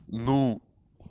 ну